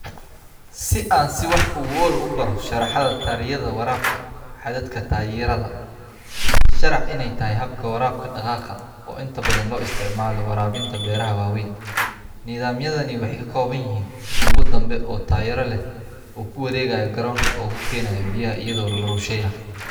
Nidaamka waraabka waa hab casri ah oo si weyn looga isticmaalo beeralayda si loo waraabiyo dhul ballaaran iyadoo la adeegsanayo qalab si toos ah u wareegaya oo ku wareegaya barta dhexe ee beeraha. Qalabkan wuxuu ka kooban yahay tubo dheer oo bir ah oo lagu taageero taayiro si ay u socdaan.